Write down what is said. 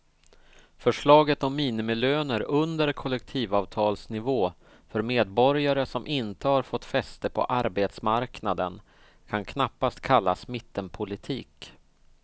Förslaget om minimilöner under kollektivavtalsnivå för medborgare som inte har fått fäste på arbetsmarknaden kan knappast kallas mittenpolitik.